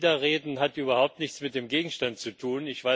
Was Sie da reden, hat überhaupt nichts mit dem Gegenstand zu tun.